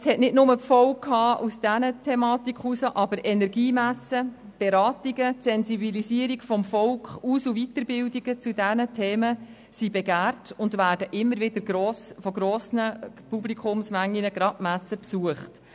Das war nicht nur die Folge dieser Thematiken, aber Energiemessen, Beratungen, Sensibilisierung des Volkes und Weiterbildungen zu diesen Themen sind begehrt und werden immer wieder von grossen Publikumsmengen besucht, gerade die Messen.